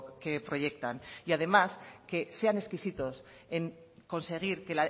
que proyectan y además que sean exquisitos en conseguir que